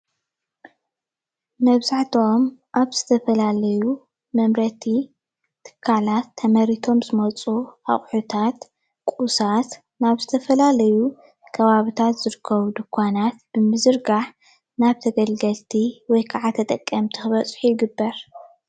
መብዛሕትኦም ኣብ ዝተፈላለዩ መምረቲ ትካላት ተመሪቶም ዝመፁ ኣቁሕታት፣ ቁሳት ናብ ዝተፈላለዩ ከባቢታት ዝርከቡ ድንኳናት ብምዝርጋሕ ናብ ተገልገልቲ ወይከዓ ተጠቀምቲ ክበፅሑ ይግበር።